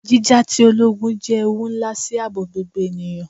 Jija ti ologun jẹ ewu nla si aabo gbogbo eniyan